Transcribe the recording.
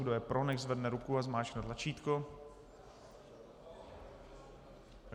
Kdo je pro, nechť zvedne ruku a zmáčkne tlačítko.